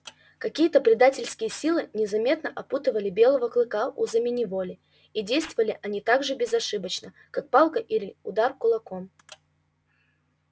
какие то предательские силы незаметно опутывали белого клыка узами неволи и действовали они так же безошибочно как палка или удар кулаком